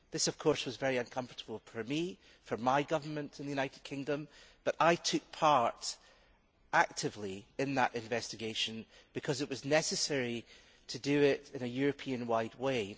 This, of course, was very uncomfortable for me and for my government in the United Kingdom, but I took part actively in that investigation because it was necessary to do it in a European wide way.